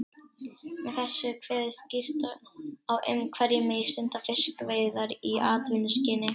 Með þessu er kveðið skýrt á um hverjir megi stunda fiskveiðar í atvinnuskyni.